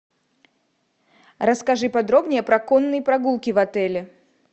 расскажи подробнее про конные прогулки в отеле